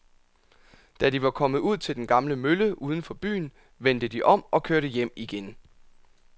Da de var kommet ud til den gamle mølle uden for byen, vendte de om og kørte hjem igen.